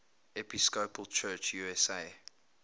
episcopal church usa